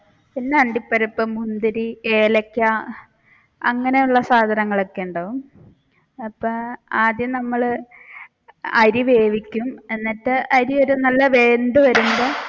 പിന്നെ അണ്ടിപ്പരിപ്പ്, മുന്തിരി, ഏലക്ക അങ്ങനെയുള്ള സാധങ്ങൾ ഒക്കെയുണ്ടാവും അപ്പ ആദ്യം നമ്മൾ അരി വേവിക്കും എന്നിട്ട് അരി ഒരു നല്ല വെന്തു വരുമ്പോൾ